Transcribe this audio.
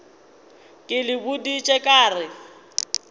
ke le boditše ka re